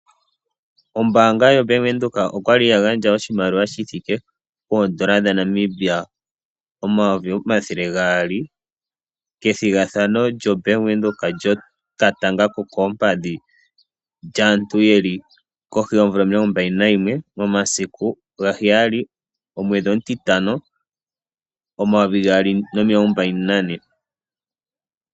Ombaanga yaVenduka okwali ya gandja oshimaliwa shithike poodola dhaNamibia omayovi omathele gaali kethigathano lyombaanga yaVenduka lyokatanga kokoompadhi lyaantu yeli kohi yoomvula omilongo mbali nayimwe momasiku gaheyali omwedhi omutitano omayovi gaali nomilongo mbali nane.